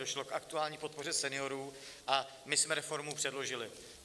Došlo k aktuální podpoře seniorů a my jsme reformu předložili.